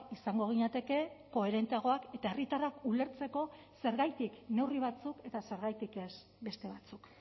izango ginateke koherenteagoak eta herritarrak ulertzeko zergatik neurri batzuk eta zergatik ez beste batzuk